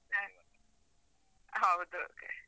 ಹ ಹೌದು.